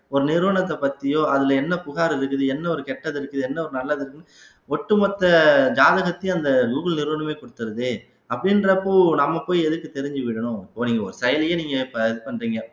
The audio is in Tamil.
ஒரு நிறுவனத்தை பத்தியோ அதுல என்ன புகார் இருக்குது என்ன ஒரு கெட்டது இருக்குது என்ன ஒரு நல்லது இருக்குதுன்னு ஒட்டுமொத்த ஜாதகத்தையும் அந்த கூகுள் நிறுவனமே கொடுத்துருதே அப்படின்றப்போ நாம போய் எதுக்கு தெரிஞ்சுக்கணும் இப்போ ஒரு செயலையே நீங்க இப்ப இது பண்றீங்க